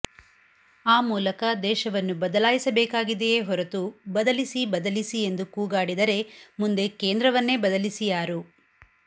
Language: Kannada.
ಆ ಮೂಲಕ ದೇಶವನ್ನು ಬದಲಾಯಿಸಬೇಕಾಗಿದೆಯೇ ಹೊರತು ಬದಲಿಸಿ ಬದಲಿಸಿ ಎಂದು ಕೂಗಾಡಿದರೆ ಮುಂದೆ ಕೇಂದ್ರವನ್ನೇ ಬಲಾಯಿಸಿಯಾರು